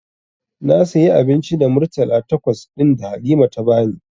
Na sayi abinci da murtala takwas ɗin da Halima ta bani.